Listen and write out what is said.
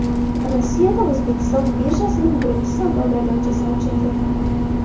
Rossiyada O‘zbekiston birjasining birinchi savdo maydonchasi ochildi.